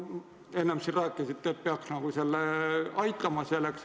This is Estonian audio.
Te enne siin rääkisite, et see peaks nagu aitama.